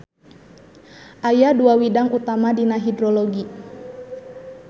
Aya dua widang utama dina hidrologi.